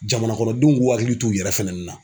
Jamana kɔnɔdenw k'u hakili t'u yɛrɛ fɛnɛni na.